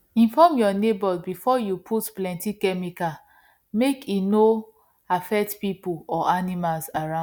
inform your neighbours before you put plenty chemical make e no affect people or animals around